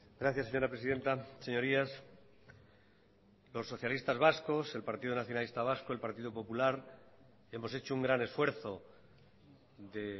gracias señora presidenta señorías los socialistas vascos el partido nacionalista vasco el partido popular hemos hecho un gran esfuerzo de